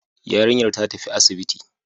Yarinyar ta tafi asibiti